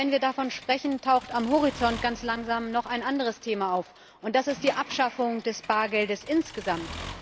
Aber wenn wir davon sprechen, taucht am Horizont ganz langsam noch ein anderes Thema auf, und das ist die Abschaffung des Bargeldes insgesamt.